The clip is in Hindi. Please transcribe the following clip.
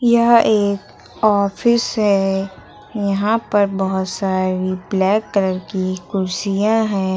यह एक ऑफिस है यहां पर बहोत सारी ब्लैक कलर की कुर्सियां है।